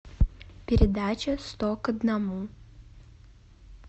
передача сто к одному